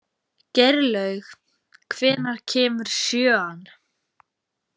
Geirlaug, hvenær kemur sjöan?